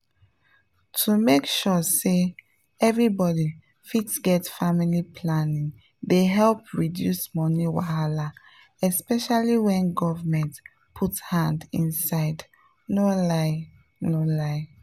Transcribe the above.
to make sure say everybody fit get family planning dey help reduce money wahala especially when government put hand inside no lie no lie.